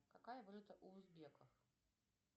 какая валюта у узбеков